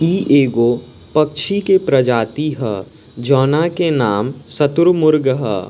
इ एगो पक्षी के प्रजाति ह जोवना के नाम शुतुरमुर्ग ह।